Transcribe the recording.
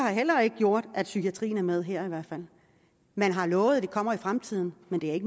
heller ikke gjort at psykiatrien er med her man har lovet at det kommer i fremtiden men det er